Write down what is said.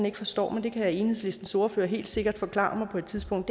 ikke forstår men det kan enhedslistens ordfører helt sikkert forklare mig på et tidspunkt